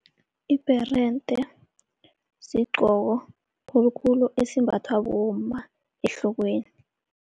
Ibherende sigqoko khulukhulu esimbathwa bomma ehlokweni.